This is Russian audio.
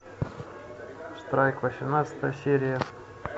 страйк восемнадцатая серия